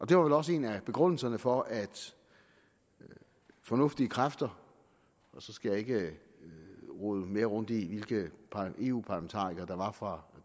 det var vel også en af begrundelserne for at fornuftige kræfter og så skal jeg ikke rode mere rundt i hvilke eu parlamentarikere der var fra